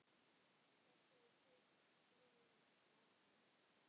Saltið og piprið í lokin.